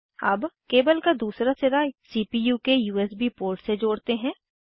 अब केबल का दूसरा सिरा सीपीयू के यूएसबी पोर्ट से जोड़ते हैं